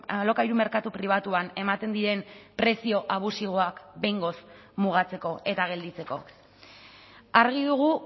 alokairu merkatu pribatuan ematen diren prezio abusiboak behingoz mugatzeko eta gelditzeko argi dugu